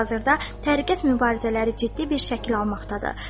Hazırda təriqət mübarizələri ciddi bir şəkil almaqdadır.